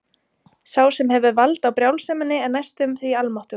Sá sem hefur vald á brjálseminni er næstum því almáttugur.